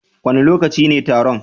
Wane lokaci ne taron?